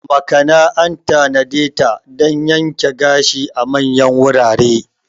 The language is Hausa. Makana an tanadeta dan yanke gashi a manyan wurare.